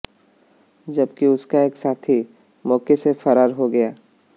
जबकि उसका एक साथी मौके से फरार हो गया